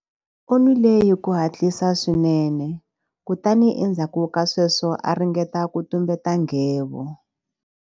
U nwile hi ku hatlisa swinene kutani endzhaku ka sweswo a ringeta ku tumbeta nghevo.